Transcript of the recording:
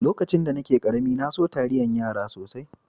Lokacin da nake karemi, na so taliyan yara sosai.